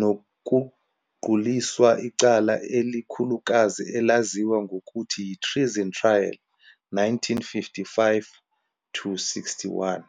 nokuquliswa icala elikhulukazi elaziwa ngokuthi yi-Treason Trial- 1955-61.